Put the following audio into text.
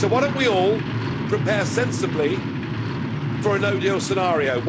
So why don't we all prepare sensibly for a no deal scenario?